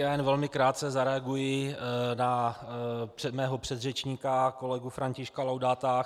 Já jenom velmi krátce zareaguji na mého předřečníka kolegu Františka Laudáta.